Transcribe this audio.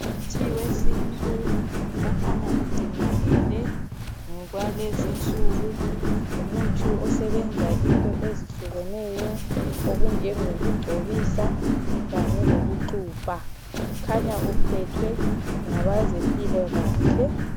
Umuthi wesintu, okhanya ugcinakele ngokwalezinsuku, ngumuthi osebenza into ezahlukeneyo, okunjengokugcobisa kanye lokuxubha. Ukhanya uphethwe ngabezempilakahle.